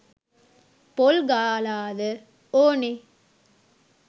පොල් ගාලාද ඔනේ